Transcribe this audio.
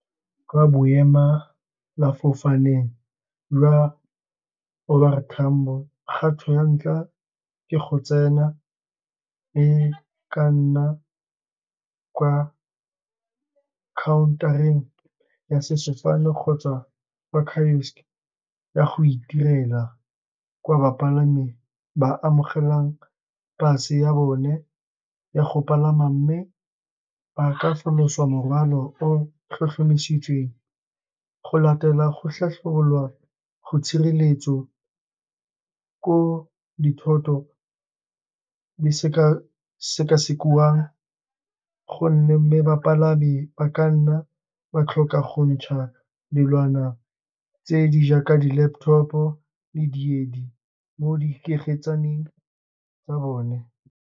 Kwa boemelafofaneng lwa O R Tambo, kgato ya ntlha ke go tsena e ka nna ka kwa counter-eng ya sefofane, kgotsa ba kiosk ya go itirela, kwa bapalami ba amogelang pass ya bone ya go palama. Mme ba ka falosa morwalo o tlhotlhomisitsweng, go latela go go tshireletso, ko dithoto di sekesekiwang, gonne mmebapalami ba ka nna ba tlhoka go go ntsha dilwana tse di jaaka di laptop, di diedi mo di tsa bone.